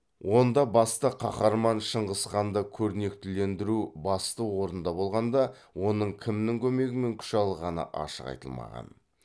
онда басты қаһарман шыңғысханды көрнектілендіру басты орында болғанда оның кімнің көмегімен күш алғаны ашық айтылмаған